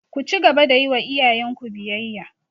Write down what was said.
Ku cigaba da yi wa iyayenku biyayya!